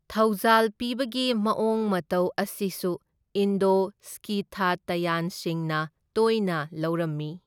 ꯊꯧꯖꯥꯜ ꯄꯤꯕꯒꯤ ꯃꯑꯣꯡ ꯃꯇꯧ ꯑꯁꯤꯁꯨ ꯏꯟꯗꯣ ꯁ꯭ꯀꯤꯊꯇꯌꯥꯟꯁꯤꯡꯅ ꯇꯣꯏꯅ ꯂꯧꯔꯝꯃꯤ꯫